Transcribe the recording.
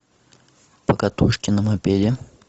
покатушки на мопеде